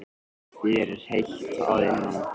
Símon: Þér er heitt að innan?